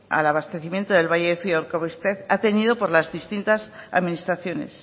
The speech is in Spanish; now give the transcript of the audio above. al abastecimiento del valle de zuia urkabustaiz ha tenido por las distintas administraciones